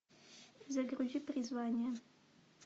загрузи призвание